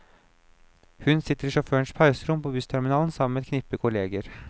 Hun sitter i sjåførenes pauserom på bussterminalen sammen med et knippe kolleger.